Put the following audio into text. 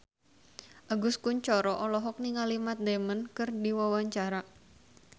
Agus Kuncoro olohok ningali Matt Damon keur diwawancara